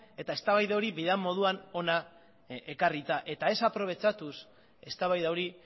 eta eztabaida hori behar den moduan ona ekarrita eta ez aprobetxatuz eztabaida hori